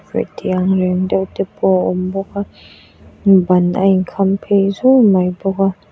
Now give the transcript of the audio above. thianghlim deuh te pawh a awm bawk a ban a in khamphei zun mai bawk a.